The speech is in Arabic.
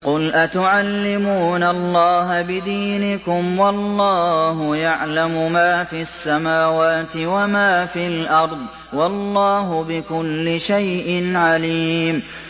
قُلْ أَتُعَلِّمُونَ اللَّهَ بِدِينِكُمْ وَاللَّهُ يَعْلَمُ مَا فِي السَّمَاوَاتِ وَمَا فِي الْأَرْضِ ۚ وَاللَّهُ بِكُلِّ شَيْءٍ عَلِيمٌ